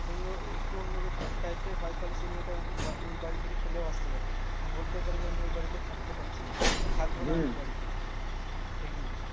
অন্য একটু অন্যরকম type এর হয় তাহলে সেই মেয়েটা ওই বাড়ি থেকে চলেও আসতে পারে। বলতেও পারে যে, আমি ওই বাড়িতে থাকতে পারছি না বা থাকবো না ওই বাড়িতে, তাই কি না?